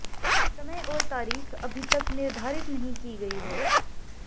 समय और तारीख अभी तक निर्धारित नहीं की गई है